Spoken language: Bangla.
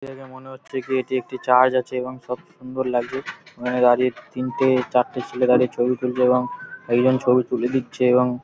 দেখে মনে হচ্ছে কি এটি একটি চার্চ আছে এবং সব সুন্দর লাগছে। ওখানে দাঁড়িয়ে তিনটে চারটে ছেলে দাঁড়িয়ে ছবি তুলল এবং একজন ছবি তুলে দিচ্ছে এবং--